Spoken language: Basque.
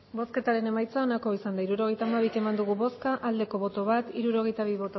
hirurogeita hamabi eman dugu bozka bat bai hirurogeita bi